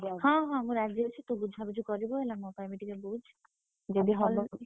ହଁ ହଁ ରାଜି ଅଛି ଯଦି ହବ।